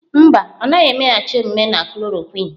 Mba, ọ naghị emeghachi omume na chloroquine.